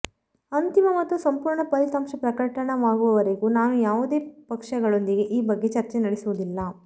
ಅಂತಿಮ ಮತ್ತು ಸಂಪೂರ್ಣ ಫಲಿತಾಂಶ ಪ್ರಕಟವಾಗುವವರೆಗೂ ನಾನು ಯಾವುದೇ ಪಕ್ಷಗಳೊಂದಿಗೆ ಈ ಬಗ್ಗೆ ಚರ್ಚೆ ನಡೆಸುವುದಿಲ್ಲ